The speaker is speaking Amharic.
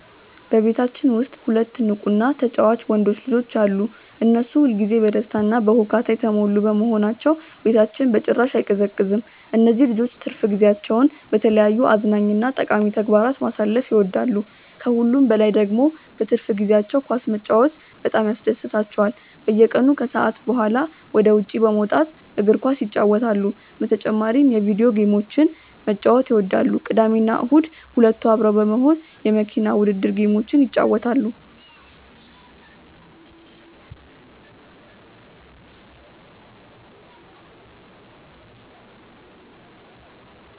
በቤታችን ውስጥ ሁለት ንቁ እና ተጫዋች ወንዶች ልጆች አሉ። እነሱ ሁል ጊዜ በደስታ እና በሁካታ የተሞሉ በመሆናቸው ቤታችን በጭራሽ አይቀዘቅዝም። እነዚህ ልጆች ትርፍ ጊዜያቸውን በተለያዩ አዝናኝ እና ጠቃሚ ተግባራት ማሳለፍ ይወዳሉ። ከሁሉም በላይ ደግሞ በትርፍ ጊዜያቸው ኳስ መጫወት በጣም ያስደስታቸዋል። በየቀኑ ከሰዓት በኋላ ወደ ውጭ በመውጣት እግር ኳስ ይጫወታሉ። በተጨማሪም የቪዲዮ ጌሞችን መጫወት ይወዳሉ። ቅዳሜና እሁድ ሁለቱ አብረው በመሆን የመኪና ውድድር ጌሞችን ይጫወታሉ።